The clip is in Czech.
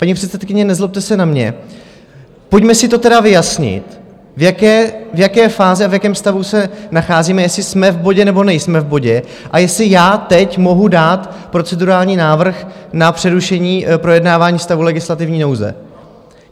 Paní předsedkyně, nezlobte se na mě, pojďme si to tedy vyjasnit, v jaké fázi a v jakém stavu se nacházíme, jestli jsme v bodě, nebo nejsme v bodě a jestli já teď mohu dát procedurální návrh na přerušení projednávání stavu legislativní nouze.